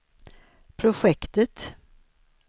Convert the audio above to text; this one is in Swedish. projektet